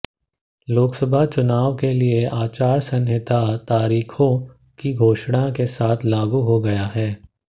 लोकसभा चुनाव के लिए आचार संहिता तारीखों की घोषणा के साथ लागू हो गयी है